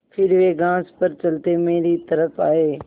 फिर वे घास पर चलते मेरी तरफ़ आये